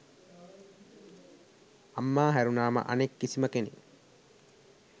අම්මා හැරුණාම අනෙක් කිසිම කෙනෙක්